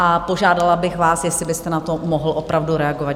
A požádala bych vás, jestli byste na to mohl opravdu reagovat.